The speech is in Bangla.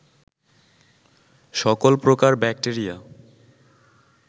সকল প্রকার ব্যাক্টেরিয়া